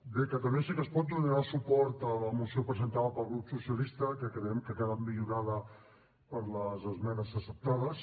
bé catalunya sí que es pot donarà suport a la moció presentada pel grup socialista que creiem que ha quedat millorada per les esmenes acceptades